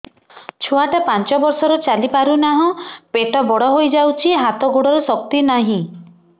ଛୁଆଟା ପାଞ୍ଚ ବର୍ଷର ଚାଲି ପାରୁନାହଁ ପେଟ ବଡ ହୋଇ ଯାଉଛି ହାତ ଗୋଡ଼ର ଶକ୍ତି ନାହିଁ